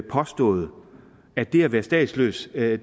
påstået at det at være statsløs er